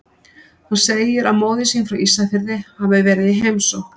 Hann segir að móðir sín frá Ísafirði hafi verið í heimsókn.